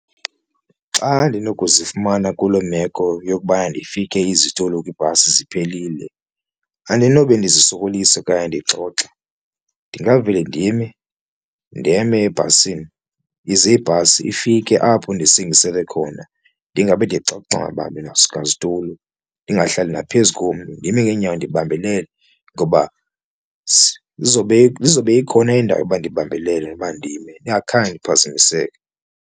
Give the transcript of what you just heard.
Xa ndinokuzifumana kuloo meko yokubana ndifike izitulo kwibhasi ziphelile andinobe ndizisokolisa okanye ndixoxe ndingavele ndime ndeme ebhasini ize ibhasi ifike apho ndisingiselee khona, ndingabe zitulo ndingahlali naphezu kommntu ndime ngeenyawo ndibambelele ngoba izobe izobe ikhona indawo yokuba ndibambelele noba ndime ningakhange niphazamiseke.